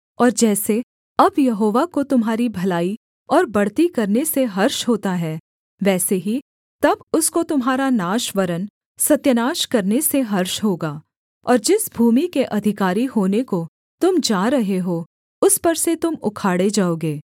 और जैसे अब यहोवा को तुम्हारी भलाई और बढ़ती करने से हर्ष होता है वैसे ही तब उसको तुम्हारा नाश वरन् सत्यानाश करने से हर्ष होगा और जिस भूमि के अधिकारी होने को तुम जा रहे हो उस पर से तुम उखाड़े जाओगे